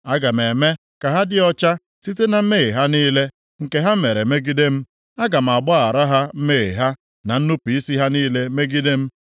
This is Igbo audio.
Aga m eme ka ha dị ọcha site na mmehie ha niile, nke ha mere megide m. Aga m agbaghara ha mmehie ha na nnupu isi ha niile megide m.